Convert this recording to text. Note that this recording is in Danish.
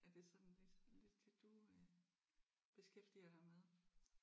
Er det sådan lidt lidt det du øh beskæftiger dig med?